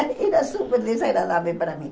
Era super desagradável para mim.